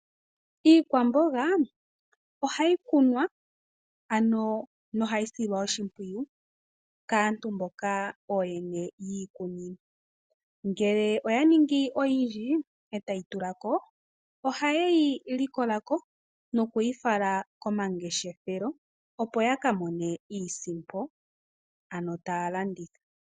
Iikwamboga ohayi kunwa na ohayi silwa oshimpwiyu kaantu mboka oyene yoshikunino, ngele oyaningi oyindji etayi tulako ohaye yi likola ko no kuyi fala komangeshefelo opo ya kamone iisimpo ano taya landitha.